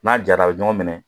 N'a jara a bɛ ɲɔgɔn minɛ